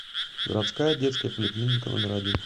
городская детская поликлиника номер один